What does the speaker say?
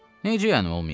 Necə yəni olmayıb?